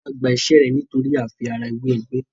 Tola gbà iṣé yén nitori àfi ara wẹ ègbé